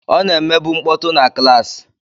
Ọ na-emebu mkpọtụ na klaasị?